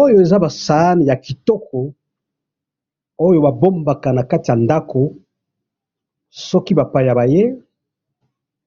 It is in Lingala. Oyo eza ba saani ya kitoko ,oyo babombaka na kati ya ndako soki bapaya baye